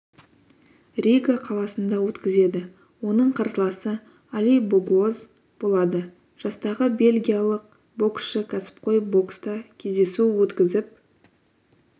рига қаласында өткізеді оның қарсыласы али богуоз болады жастағы бельгиялық боксшы кәсіпқой бокста кездесу өткізіп